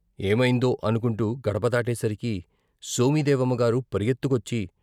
ఏమైందో అనుకొంటూ గడపదాటే సరికి సోమిదేవమ్మ గారు పరుగెత్తుకొచ్చి.